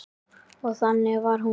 Og þannig var hún.